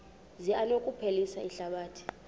zi anokuphilisa ihlabathi